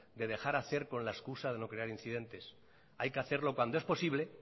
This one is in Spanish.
de dejar hacer con la excusa de no crear incidentes hay que hacerlo cuando es posible